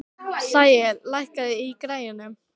Sæi, lækkaðu í græjunum.